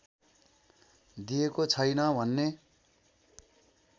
दिएको छैन भन्ने